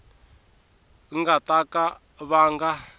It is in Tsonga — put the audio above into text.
nga ta ka va nga